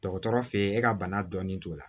Dɔgɔtɔrɔ feyi e ka bana dɔnni t'o la